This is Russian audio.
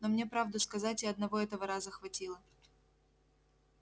но мне правду сказать и одного этого раза хватило